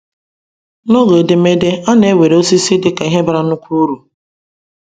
N’oge edemede, a na-ewere osisi dị ka ihe bara nnukwu uru.